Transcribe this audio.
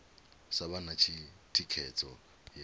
sa vha na thikhedzo ya